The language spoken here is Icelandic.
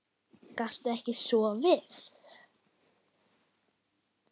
Gastu ekki sofið?